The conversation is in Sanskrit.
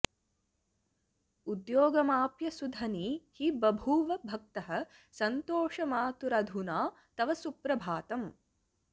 उद्योगमाप्य सुधनी हि बभूव भक्तः सन्तोषमातुरधुना तव सुप्रभातम्